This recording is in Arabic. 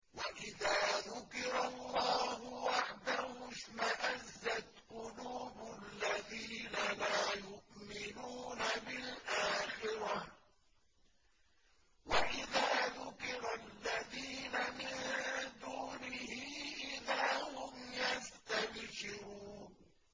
وَإِذَا ذُكِرَ اللَّهُ وَحْدَهُ اشْمَأَزَّتْ قُلُوبُ الَّذِينَ لَا يُؤْمِنُونَ بِالْآخِرَةِ ۖ وَإِذَا ذُكِرَ الَّذِينَ مِن دُونِهِ إِذَا هُمْ يَسْتَبْشِرُونَ